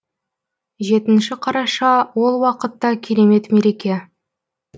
жетінші қараша ол уақытта керемет мереке